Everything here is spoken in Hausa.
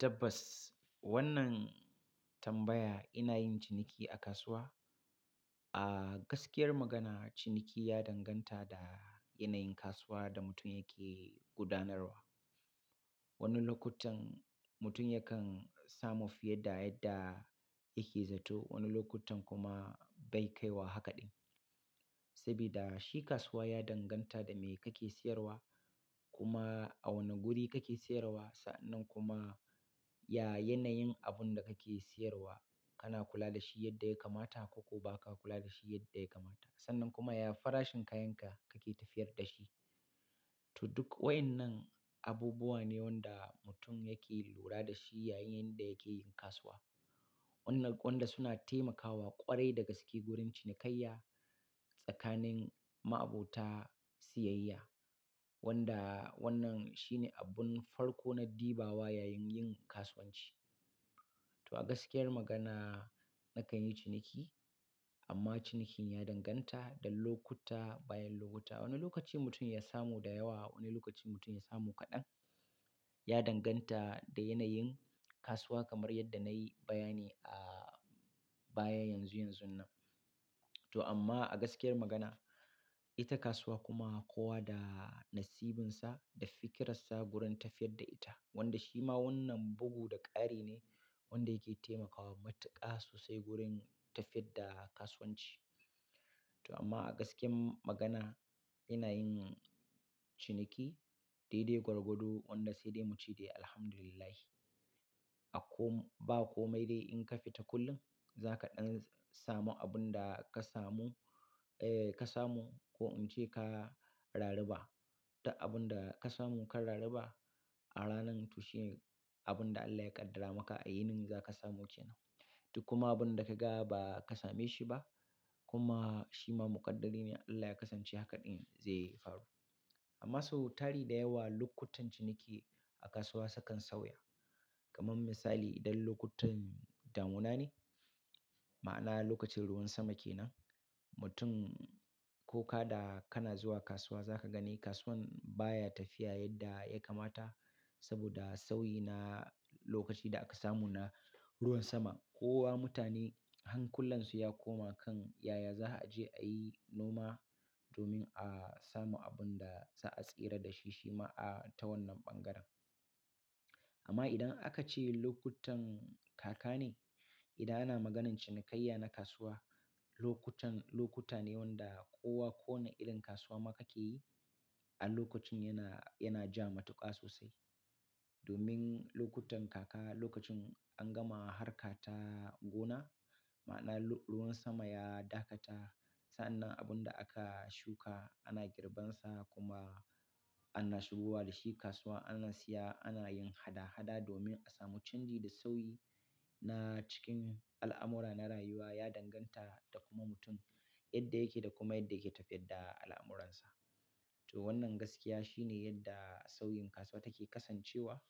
Tabbas wannan tambaya ina yin ciniki a kasuwa? A gaskiyar magana ciniki ya danganta da yanayin kasuwar da mutum yake gudanarwa. Wani lokutan mutum yakan samu fiye da yadda yake zato, wani lokutan kuma bai kai wa haka ɗin. Saboda shi kasuwa ya danganta da me kake siyarwa kuma a wane guri kake siyarwa. Sannan kuma ya yanayin abun da kake siyarwa, kana kula da shi yadda ya kamata ko ko ba ka kula da shi yadda ya kamata. Sannan kuma ya farashin kayanka kake tafiyar da shi. To duk waɗannan abubuwa ne wanda mutum yake lura da shi yayin da yake yin kasuwa. Waɗanda suna taimakawa ƙwarai da gaske wurin cinikayya tsakanin ma'abota siyayya. Wanda wannan shine abun farko na diba wa yayin yin kasuwanci. To a gaskiyar magana nakan yi ciniki amma cinikin ya danganta da lokuta bayan lokuta. Wani lokaci mutum ya samu da yawa, wani lokaci mutum ya samu kaɗan. Ya danganta da yanayin kasuwa kamar yadda na yi bayani a baya yanzu yanzunnan. To amma a gaskiyar magana ita kasuwa kuma kowa da nasibinsa da fikirsansa gurin tafiyar da ita. Wanda shi ma wannan bugu da ƙari ne wanda yake taimakawa matuƙa sosai gurin tafiyar da kasuwanci. To amma a gaskiyar magana ina yin ciniki dai dai gwargwado wanda sai dai mu ce dai Alhamdulillah. A kom-- ba komai dai in ka fita kullum za ka ɗan samu abun da ka samu, eh ka samu ko in ce ka rari ba. Duk abun da ka samu ka rarri ba a ranan to shi ne abun da Allah ya ƙaddara maka a yanin za ka samu ke nan. Duk kuma abun da ka ga ba ka same shi ba kuma shi ma muƙaddari ne Allah ya kasance haka ɗin zai faru. Amma sau tari da yawa lokutan ciniki a kasuwa sukan sauya. Kaman misali idan lokutan damuna ne, ma'ana lokacin ruwan sama ke nan, mutum ko ka da kana zuwa kasuwa za ka gani kasuwan baya tafiya yadda ya kamata saboda sauyi na lokaci da aka samu na ruwan sama. Kowa mutane hankullansu ya koma kan yaya za a je a yi noma domin a samu abun da za a tsira da shi, shi ma a ta wannan ɓangaren. Amma idan aka ce lokutan kaka ne, idan ana maganan cinikayya na kasuwa, lokutan lokuta ne wanda kowa ko wane irin kasuwa ma kake yi a lokacin yana, yana ja matuƙa sosai. Domin lokutan kaka lokacin an gama harka ta gona, ma'ana ruwan sama ya dakata. Sannan abun da aka shuka ana girbansa kuma ana shigowa da shi kasuwa, ana siya, ana yin hada-hada domin a samu canji da sauyi na cikin al'amura na rayuwa ya danganta da kuma mutum yadda yake da kuma yadda yake tafiyar da al'amuransa. To wannan gaskiya shine yadda sauyin kasuwa take kasancewa